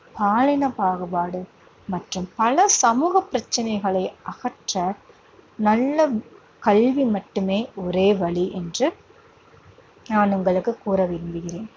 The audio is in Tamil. பாலின பாகுபாடு மற்றும் பல சமூக பிரச்சனைகளை அகற்ற நல்ல கல்வி மட்டுமே ஒரே வழி என்று நான் உங்களுக்குக் கூற விரும்புகிறேன்.